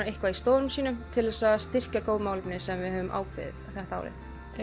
eitthvað í stofunum sínum til þess að styrkja góð málefni sem við höfum ákveðið þetta árið